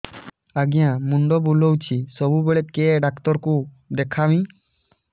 ଆଜ୍ଞା ମୁଣ୍ଡ ବୁଲାଉଛି ସବୁବେଳେ କେ ଡାକ୍ତର କୁ ଦେଖାମି